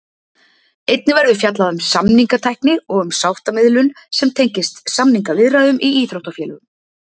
Einnig verður fjallað um samningatækni og um sáttamiðlun sem tengist samningaviðræðum í íþróttafélögum.